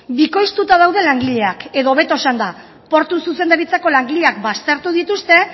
bikoiztuta daude langileak edo hobeto esanda portu zuzendaritzako langileak baztertu dituzte